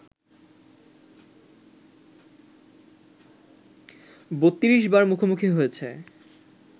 ৩২ বার মুখোমুখি হয়েছে